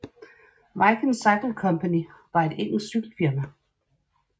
Viking Cycle Company var et engelsk cykel firma